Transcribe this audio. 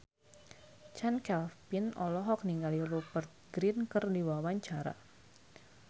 Chand Kelvin olohok ningali Rupert Grin keur diwawancara